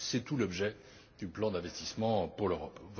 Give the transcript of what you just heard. C'est tout l'objet du plan d'investissement pour l'Europe.